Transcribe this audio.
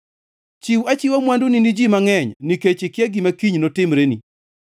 Chiw achiwa mwanduni ni ji mangʼeny, nikech ikia gima kiny notimreni.